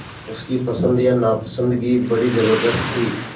उसकी पसंद या नापसंदगी बड़ी ज़बरदस्त थी